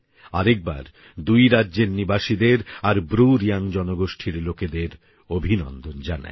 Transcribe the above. আরেকবার দুই রাজ্যের নিবাসীদের আর ব্রুরিয়াং জনগোষ্ঠীর লোকেদের অভিনন্দন জানাই